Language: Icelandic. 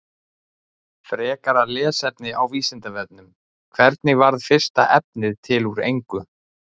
Frekara lesefni á Vísindavefnum: Hvernig varð fyrsta efnið til úr engu?